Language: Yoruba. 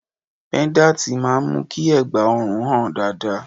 Pẹ́dátì máa ń mú kí ẹ̀gbá ọrùn hàn dáadáa.